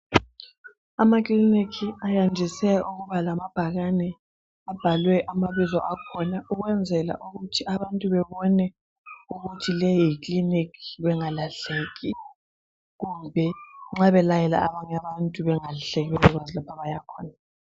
Amakiliniki ayandise ukuba lamabhakane abhalwe amabizo akhona ukwenzela ukuthi abantu bebone ukuthi leyi yiclinic bengalahleki kumbe nxa belayela abanye abantu bengalahleki bengazi lapho abayakhona